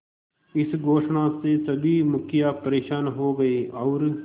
इस घोषणा से सभी मुखिया परेशान हो गए और